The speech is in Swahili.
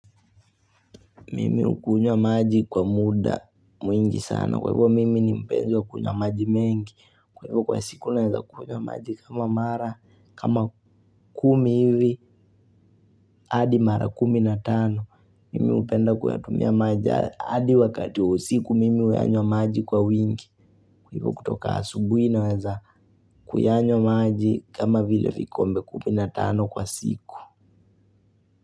Mimi hukunywa maji kwa muda mwingi sana. Kwa hivyo mimi ni mpenzi wa kunywa maji mengi. Kwa hivyo kwa siku naweza kunywa maji kama mara kama kumi hivi hadi mara kuminatano. Mimi hupenda kuyatumia maji hadi wakati usiku mimi huyanywa maji kwa wingi. Kwa hivyo kutoka asubuhi naweza kuyanywa maji kama vile vikombe kuminatano kwa siku.